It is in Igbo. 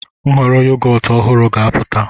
Nhọrọ yogọt ọhụrụ ga-apụta.